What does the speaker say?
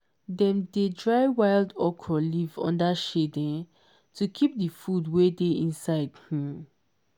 dem dey dry wild okra leaf under shade um to keep the food wey dey inside um